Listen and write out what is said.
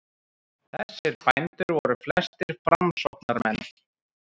Þessir bændur voru flestir framsóknarmenn.